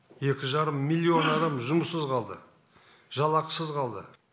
екі жарым миллион адам жұмыссыз қалды жалақысыз қалды